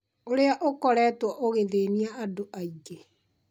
ũrĩa ũkoretwo ũgĩthĩnia andũ aingĩ